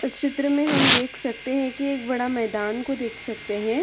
इस चित्र में हम देख सकते है कि एक बड़ा मैदान को देख सकते हैं ।